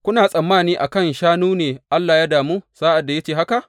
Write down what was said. Kuna tsammani a kan shanu ne Allah ya damu sa’ad da ya ce haka?